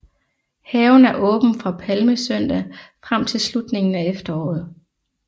Haven er åben fra palmesøndag frem til slutningen af efteråret